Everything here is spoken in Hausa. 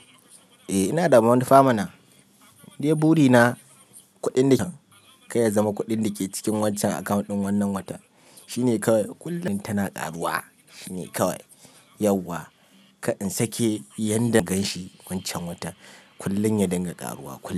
Eh ina da manufa mana, dai buri na kuɗin da kayya zama kuɗin da ke cikin wancan akwan ɗin wannan watan shine kawai kullum tana ƙaruwa shine kawai yauwa kar in sake yanda in gan shi wancan watan kullum ya dinga ƙaruwa.